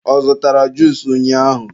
ọ zụtara juusu ụnyaahụ?